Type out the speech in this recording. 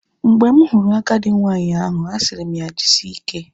Mgbe m hụrụ agadi nwanyị ahụ, asịrị m ya jisike